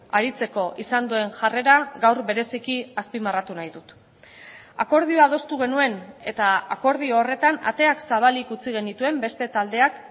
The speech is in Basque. aritzeko izan duen jarrera gaur bereziki azpimarratu nahi dut akordioa adostu genuen eta akordio horretan ateak zabalik utzi genituen beste taldeak